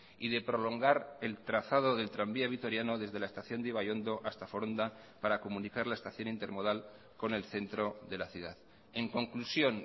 y de prolongar el trazado del tranvía vitoriano desde la estación de ibaiondo hasta foronda para comunicar la estación intermodal con el centro de la ciudad en conclusión